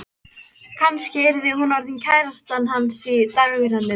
Kannski yrði hún orðin kærastan hans í dagrenningu.